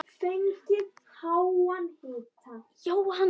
Og margur hlotið sóma af.